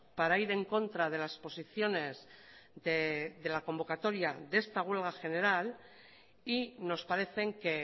para ir en contra de las posiciones de la convocatoria de esta huelga general y nos parecen que